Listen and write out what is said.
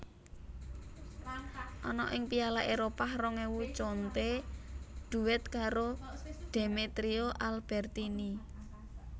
Ana ing Piala Éropah rong ewu Conte duet karo Demetrio Albertini